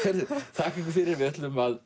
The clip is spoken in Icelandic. þakka ykkur fyrir við ætlum að